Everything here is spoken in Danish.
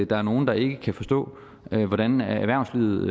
der er nogle der ikke kan forstå hvordan erhvervslivet